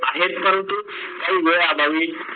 आहेत परंतु काही वेळ अभावी